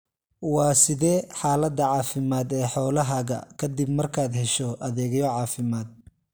Waa sidee xaalada caafimaad ee xoolahaaga ka dib markaad hesho adeegyo caafimaad?